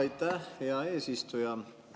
Aitäh, hea eesistuja!